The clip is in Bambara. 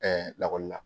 lakɔli la